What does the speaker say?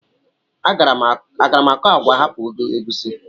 Agaara m akọ agwa hapụ egusi?